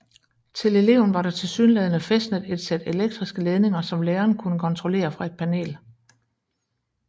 Til eleven var der tilsyneladende fæstnet et sæt elektriske ledninger som læreren kunne kontrollere fra et panel